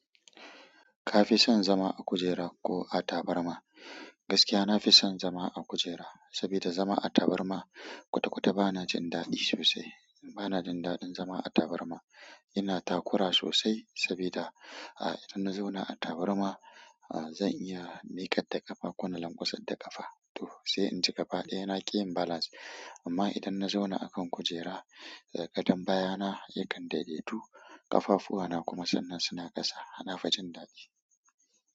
Ka fi son zama a kujera ko a tabarma? Gaskiya na fi son zama a kujera, saboda zama a tabarma kwata-kwata ba na jin daɗi sosai. Ba na jin daɗin zama a tabarma. Ina takura sosai saboda, ah idan na zauna a tabarma, ah zan iya niƙar da ƙafa ko na lamƙwasar da ƙafa. Sai inji gaba ɗaya na ki yin balance. Amma idan na zauna akan kujera, gadan baya na yakan daidaitu, ƙafafu na kuma sannen suna ƙasa. Hana fa jin daɗi.